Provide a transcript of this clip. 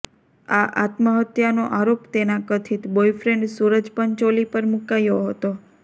આ આત્મહત્યાનો આરોપ તેના કથિત બોયફ્રેન્ડ સૂરજ પંચોલી પર મુકાયો હતો